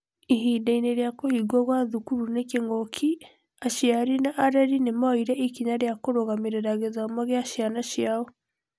Ihinda-inĩ rĩa kũhingwo kwa thukuru nĩ kĩng'ũki, aciari na arei nĩ moire ikinya kũrũgamĩrĩra gĩthomo gĩa ciana ciao.